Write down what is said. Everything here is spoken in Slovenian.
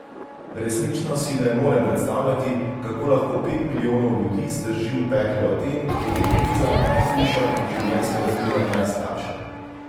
Resnično si ne morem predstavljati, kako lahko pet milijonov ljudi zdrži v peklu Aten, kjer je kriza najhujša in življenjske razmere najslabše.